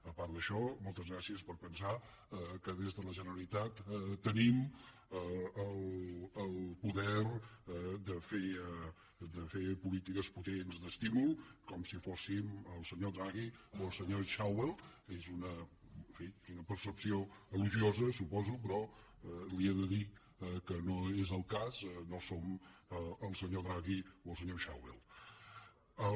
a part d’això moltes gràcies per pensar que des de la generalitat tenim el poder de fer polítiques potents d’estímul com si fóssim el senyor draghi o el senyor schäuble que és una percepció elogiosa ho suposo però li he de dir que no és el cas no som el senyor draghi o el senyor schäuble